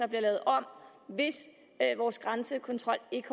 lavet om hvis vores grænsekontrol ikke